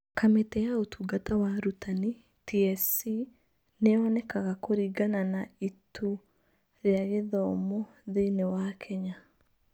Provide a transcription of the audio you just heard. Kamĩtĩ ya Ũtungata wa Arutani (TSC) nĩ yonekaga kũringana na Ituu rĩa Gĩthomo thĩinĩ wa Kenya.